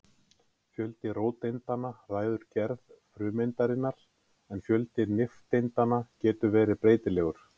Fjöldi róteindanna ræður gerð frumeindarinnar en fjöldi nifteindanna getur verið breytilegur.